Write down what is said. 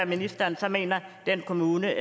ministeren så mener at den kommune